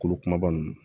Kolo kumaba ninnu